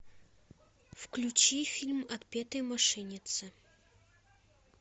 включи фильм отпетые мошенницы